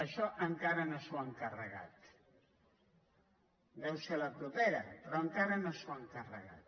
això encara no s’ho han carregat deu seu la propera però encara no s’ho han carre·gat